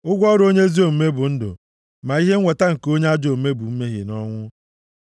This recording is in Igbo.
Ụgwọ ọrụ onye ezi omume bụ ndụ, ma ihe nweta nke onye ajọ omume bụ mmehie na ọnwụ.